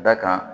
Da kan